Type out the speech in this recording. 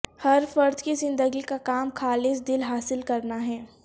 ہر فرد کی زندگی کا کام خالص دل حاصل کرنا ہے